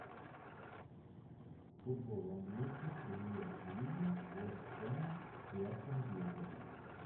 футбол английской премьер лиги вест хэма и астон виллы